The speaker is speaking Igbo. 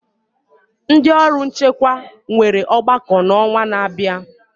Ndị ọrụ nchekwa nwere ọgbakọ n'ọnwa na-abịa.